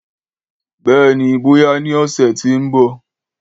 Béèni, bóyá ní ọ̀sẹ̀ ti o nbọ